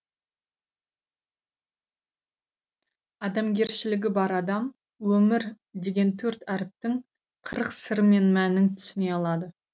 адамгершілігі бар адам өмір деген төрт әріптің қырық сыры мен мәнін түсіне алады